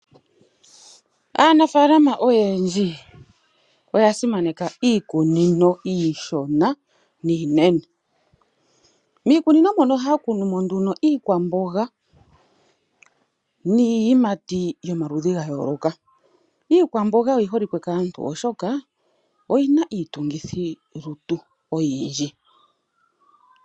Aanafaalama oyendji oyasimaneka iikunino iishona niinene. Miikunino ohaya kunu mo iiyimati niikwamboga. Iikwamboga oyiholike kaantu oshoka oyina iitungithi lutu oyindji.